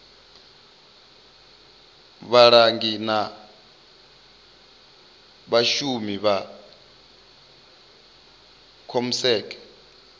vhalangi na vhashumi vha comsec